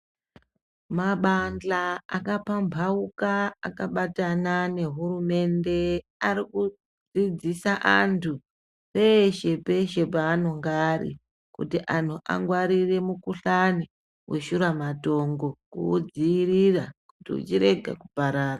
Mabandhla akapambauka akabatana nehurumende arikudzidzisa antu eshe peshe peshe panoga ari kuti anhu amgwarire mikhuhlane weshuramatongo kuwudzivirira kuti urenge kuparara.